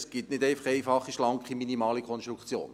Es gibt keine einfache, schlanke, minimale Konstruktion.